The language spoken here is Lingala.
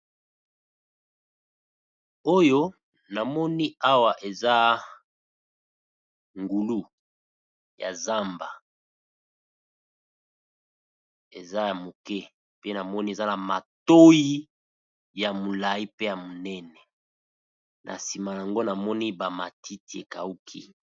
Oyo namoni awa eza ngulu ya zamba, eza ya moke pe namoni eza na matoi ya molai pe ya monene na nsima nango namoni ba matiti ekauki.